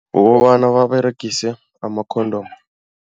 Ngokobana baberegise ama-condom.